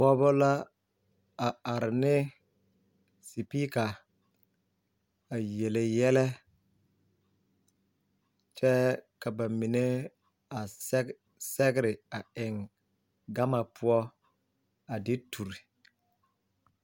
Pogeba la a are ne sepipiika a yele yɛlɛ kyɛɛ ka ba mine a sɛge sɛgre a eŋ gama poɔ a de ture.